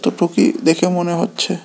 অতটুকুই দেখে মনে হচ্ছে।